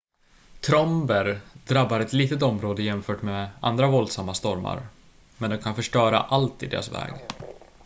tromber drabbar ett litet område jämfört med andra våldsamma stormar men de kan förstöra allt i deras väg